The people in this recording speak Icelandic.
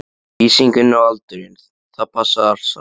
Lýsingin og aldurinn, það passaði allt saman.